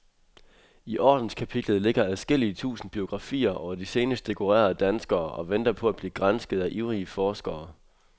I ordenskapitlet ligger adskillige tusind biografier over de senest dekorerede danskere og venter på at blive gransket af ivrige forskere.